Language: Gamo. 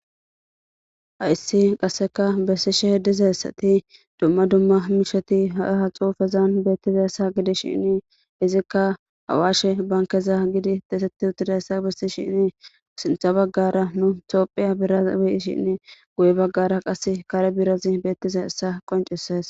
ha issi qasseka bessishe h dizayssati dumma dumma misheti ha7e ha xuufezan beettiza ssa gidi shinni izikka hawaashe bankeza gidi deesetti uttidayssa bessi shinni sintha baggara nu toophiya biraz weshinni guye baggara qasse kare birazi beettiza essa qoncises